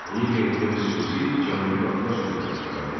Onun yerində xüsusi Cənubi Qafqaz komitəsi yaradıldı.